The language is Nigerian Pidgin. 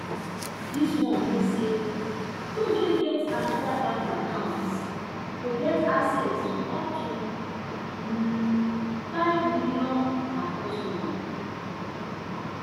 dis one mean say those wey get oda bank accounts go get access to up to nfive million per customer